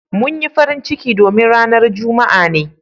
Mun yi farin ciki domin ranan Juma'a ne.